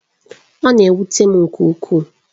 Ọ na-ewute m nke ukwuu